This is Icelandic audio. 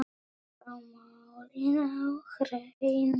Að fá málin á hreint